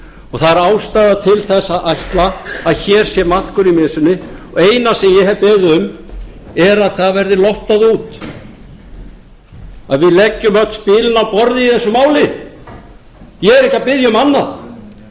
og það er ástæða til að ætla að hér sé maðkur í mysunni og það eina sem ég hef beðið um er að það verði loftað út að við leggjum öll spilin á borðið í þessu máli ég er ekki að biðja um annað